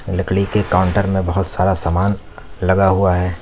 लकड़ी के काउंटर में बहोत सारा सामान लगा हुआ है।